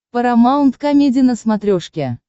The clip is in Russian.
парамаунт комеди на смотрешке